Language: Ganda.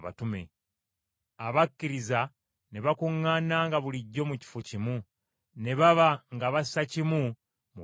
Abakkiriza ne bakuŋŋaananga bulijjo mu kifo kimu, ne baba nga bassa kimu mu byonna.